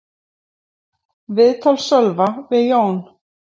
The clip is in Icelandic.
Viðtal Sölva við Jón